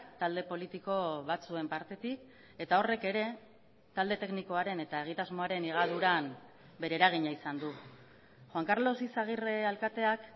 talde politiko batzuen partetik eta horrek ere talde teknikoaren eta egitasmoaren higaduran bere eragina izan du juan karlos izagirre alkateak